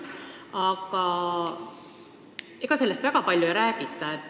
Samas, ega sellest probleemist väga palju ei räägita.